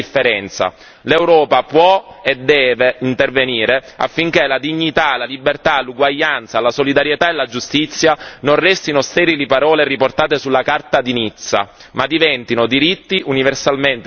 L'Europa può e deve intervenire affinché la dignità, la libertà, l'uguaglianza, la solidarietà e la giustizia non restino sterili parole riportate sulla Carta di Nizza, ma diventino diritti universalmente riconosciuti ed affermati.